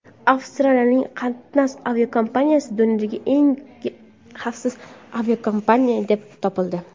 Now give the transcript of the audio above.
Avstraliyaning Qantas aviakompaniyasi dunyodagi eng xavfsiz aviakompaniya deb topildi.